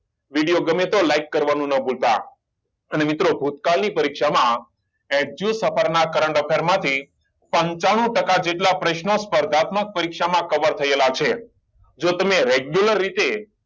video ગમે તો like કરવાનું નો ભૂલતા અને મિત્રો ભુતકાળની પરીક્ષા ના current affair માંથી પંચાણું ટકા જેટલા પ્રશ્ન સ્પર્ધાત્મક પરીક્ષા માં કવર થયેલા છે જો તમે regular રીતે